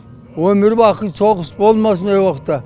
өмір бақи соғыс болмасын әр уақытта